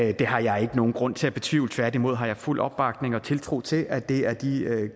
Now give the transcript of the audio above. i det har jeg ikke nogen grund til at betvivle tværtimod har jeg fuld opbakning og tiltro til at det er de